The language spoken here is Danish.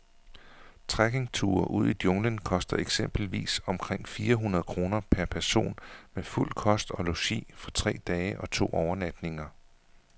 Trekkingture ud i junglen koster eksempelvis omkring fire hundrede kroner per person med fuld kost og logi for tre dage og to overnatninger.